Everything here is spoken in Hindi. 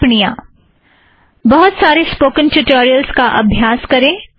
कुछ टिप्पणियाँ - बहुत सारे स्पोकन ट्युटोरियलस का अभ्यास करें